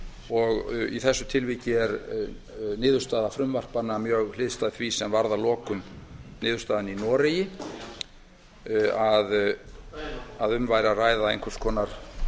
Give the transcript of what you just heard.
og í þessu tilviki er niðurstaða frumvarpanna mjög hliðstæð því sem varð að lokum niðurstaðan í noregi að um væri að ræða einhvers konar